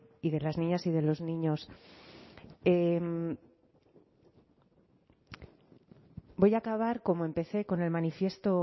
y de las niñas y de los niños voy a acabar como empecé con el manifiesto